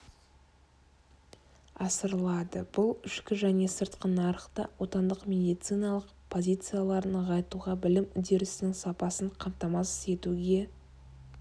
асырылады бұл ішкі және сыртқы нарықта отандық медициналық позицияларын нығайтуға білім үдерісінің сапасын қамтамасыз етуге